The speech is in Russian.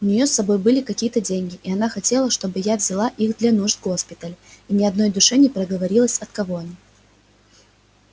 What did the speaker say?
у нее с собой были какие-то деньги и она хотела чтобы я взяла их для нужд госпиталя и ни одной душе не проговорилась от кого они